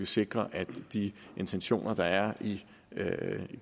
sikre at de intentioner der er i